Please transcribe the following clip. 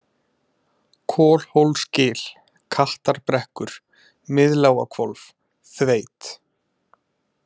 Kolhólsgil, Kattarbrekkur, Miðlágahvolf, Þveit